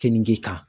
Keninge kan